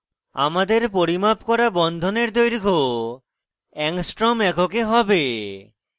আমাদের পরিমাপ করা বন্ধনের দৈর্ঘ্য angstrom এককে হবে